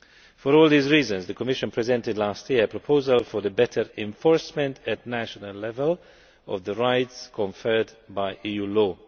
For all these reasons the Commission presented last year a proposal for better enforcement at national level of the rights conferred by EU law.